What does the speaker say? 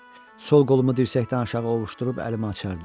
Sol qolumu dirsəkdən aşağı ovuucdurub əlimi açardı.